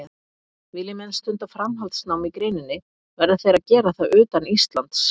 Vilji menn stunda framhaldsnám í greininni verða þeir að gera það utan Íslands.